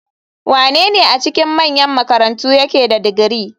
Wanene a cikin manyan makarantu yake da digiri?